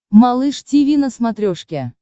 малыш тиви на смотрешке